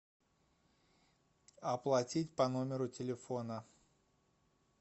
оплатить по номеру телефона